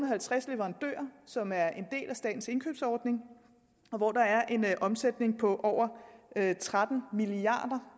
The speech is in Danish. og halvtreds leverandører som er en del af statens indkøbsordning og der er en omsætning på over tretten milliard